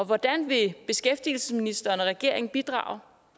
hvordan vil beskæftigelsesministeren og regeringen bidrage